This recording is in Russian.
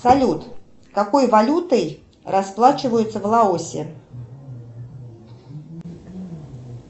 салют какой валютой расплачиваются в лаосе